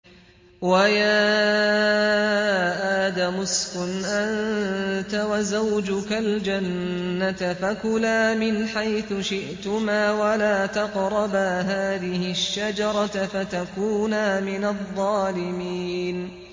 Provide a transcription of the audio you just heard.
وَيَا آدَمُ اسْكُنْ أَنتَ وَزَوْجُكَ الْجَنَّةَ فَكُلَا مِنْ حَيْثُ شِئْتُمَا وَلَا تَقْرَبَا هَٰذِهِ الشَّجَرَةَ فَتَكُونَا مِنَ الظَّالِمِينَ